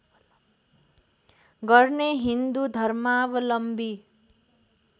गर्ने हिन्दू धर्मावलम्बी